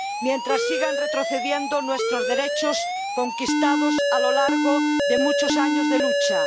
mientras sigan retrocediendo nuestros derechos conquistados a lo largo de muchos años de lucha